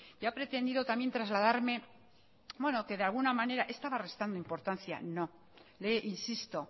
y ha pretendido también trasladarme bueno que de alguna manera estaba restando importancia no le insisto